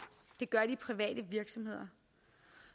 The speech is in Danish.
det gør de private virksomheder